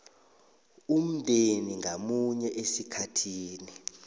umndeni ngamunye esikhathini